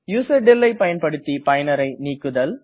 userdel ஐ பயன்படுத்தி பயனரை நீக்குதல்